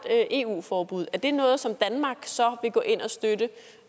eu forbud er det noget som danmark så vil gå ind og støtte